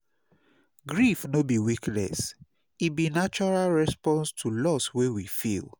Grief no be weakness; e be natural response to loss wey we feel.